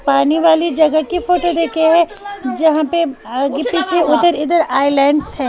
पानी वाली जगह की फोटो देखे हैं जहां पे आगे पीछे उधर इधर आइलैंड्स हैं।